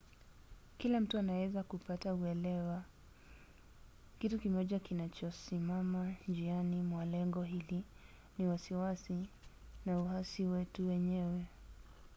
kila mtu anaweza kupata uelewa. kitu kimoja kinachosimama njiani mwa lengo hili ni wasiwasi na uhasi wetu wenyewe